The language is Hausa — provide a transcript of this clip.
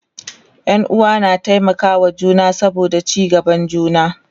Ƴan uwa na taimaka wa juna saboda ci gaban juna